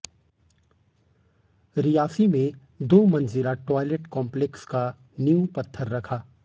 रियासी में दो मंजिला टायलेट कम्पलैक्स का नींव पत्थर रखा